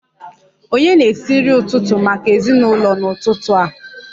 Ònye na-esi nri ụtụtụ maka ezinụlọ n'ụtụtụ a?